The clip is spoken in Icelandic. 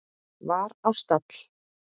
var á stall.